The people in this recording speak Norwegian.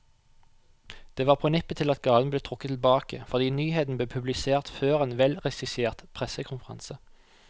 Det var på nippet til at gaven ble trukket tilbake, fordi nyheten ble publisert før en velregissert pressekonferanse.